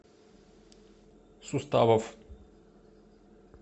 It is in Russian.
суставов